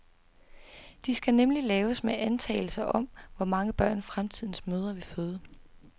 De skal nemlig laves med antagelser om, hvor mange børn, fremtidens mødre vil føde.